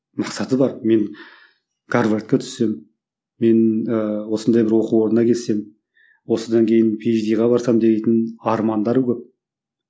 мақсаты бар мен гарвардқа түссем мен ыыы осындай бір оқу орнына келсем осыдан кейін пи ейч диға барсам дейтін армандары көп